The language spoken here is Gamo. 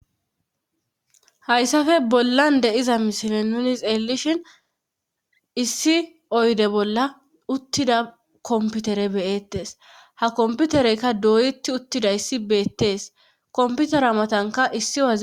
Hayssafe bollan deiza mishile nuni xeelishhin issi oyde bolla uttida komputere beyettes ha komputereykka doyeti uttida issi beettees komputera matanka issi a.